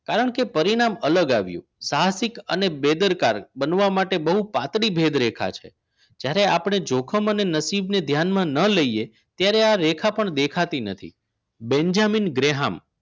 એકવાર બોલ્યા હતા મને કાયદાઓની શા માટે પડી હોય શું મારી પાસે સત્તા નથી તેની પાસે સત્તા હતી અને તેનું કામ થયું પણ આ વાર્તા ના છેલ્લા શબ્દો આ નથી કારણ કે પરિણામ અલગ આવ્યું સાહસિક અને બેદરકાર બહુ પાતળી ભેદ દેખાશે જ્યારે આપણે જોખમ અને નસીબને ધ્યાનમાં ન લઈએ ત્યારે આ રેખા પણ દેખાતી નથી બેન્જામિન ગ્રેહામ